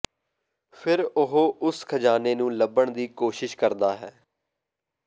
ਫਿਰ ਉਹ ਉਸ ਖ਼ਜ਼ਾਨੇ ਨੂੰ ਲੱਭਣ ਦੀ ਕੋਸ਼ਿਸ਼ ਕਰਦਾ ਹੈ